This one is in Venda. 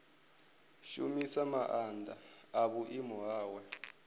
shumisa maanḓa a vhuimo hawe